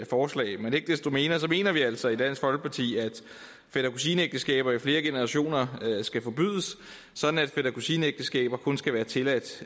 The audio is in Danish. forslag men ikke desto mindre mener vi altså i dansk folkeparti at fætter kusine ægteskaber i flere generationer skal forbydes sådan at fætter kusine ægteskaber kun skal være tilladt